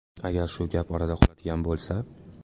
Agar shu gap orada qoladigan bo‘lsa.